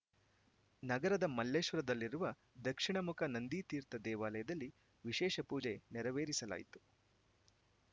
ನಗರದ ಮಲ್ಲೇಶ್ವರದಲ್ಲಿರುವ ದಕ್ಷಿಣಮುಖ ನಂದಿತೀರ್ಥ ದೇವಾಲಯದಲ್ಲಿ ವಿಶೇಷ ಪೂಜೆ ನೆರವೇರಿಸಲಾಯಿತು